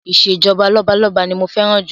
Ìṣèjọba lọ́balọ́ba ni mo fẹ́ràn jù